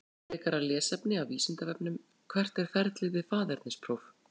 Frekara lesefni af Vísindavefnum: Hvert er ferlið við faðernispróf?